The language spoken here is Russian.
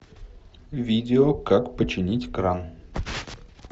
видео как починить кран